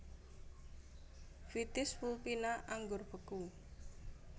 Vitis vulpina Anggur beku